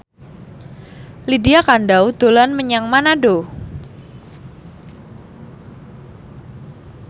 Lydia Kandou dolan menyang Manado